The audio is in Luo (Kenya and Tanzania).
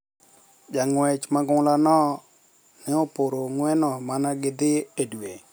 Jang`wech ma ng`ula no ne oporo ng`weno mana gi dhi e dwe